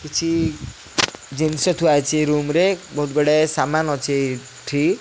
କିଛି ଜିନିଷ ଥୁଆ ହୋଇଛି ରୁମ୍ ରେ ବହୁତ ଗୁଡ଼ାଏ ସାମାନ ଅଛି ଏଠି --